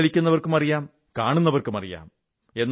പുകവലിക്കുന്നവർക്കുമറിയാം കാണുന്നവർക്കുമറിയാം